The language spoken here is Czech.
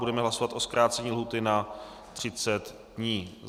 Budeme hlasovat o zkrácení lhůty na 30 dní.